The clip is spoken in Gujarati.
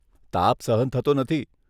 તાપ સહન થતો નથી.